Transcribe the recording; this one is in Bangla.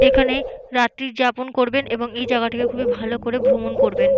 এখানে রাত্রি যাপন করবেন এবং এই জাগাটিকে খুবই ভালো করে ভ্রমণ করবেন।